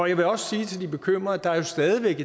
jeg vil også sige til de bekymrede at der jo stadig væk